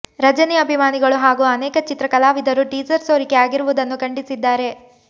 ರಜನಿ ಅಭಿಮಾನಿಗಳು ಹಾಗೂ ಅನೇಕ ಚಿತ್ರ ಕಲಾವಿದರು ಟೀಸರ್ ಸೋರಿಕೆ ಆಗಿರುವುದನ್ನು ಖಂಡಿಸಿದ್ದಾರೆ